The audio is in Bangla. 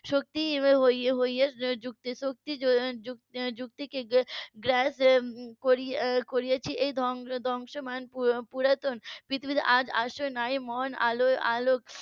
শক্তি . যুক্তিকে গ্রাস করেছে এই ধ্বংসমান পুরাতন . আলোয় আলো